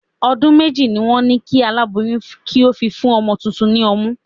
Ọdún méjì ni wọn ni kí alaboyun kí ó fi fún ọmọ tuntun ni ọmú.